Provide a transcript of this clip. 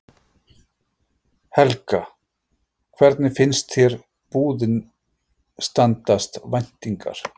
Helga: Hvernig finnst þér búðin standast væntingar?